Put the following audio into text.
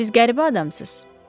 Siz qəribə adamsız.